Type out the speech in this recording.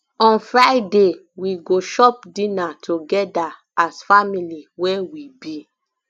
on friday we go chop dinner togeda as family wey we be